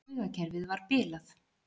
Taugakerfið var bilað.